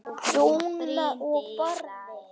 Dúna og Barði.